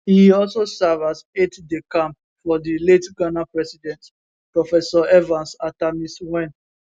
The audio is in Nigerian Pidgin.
e also serve as aidedecamp for di late ghana president professor evans attamills wen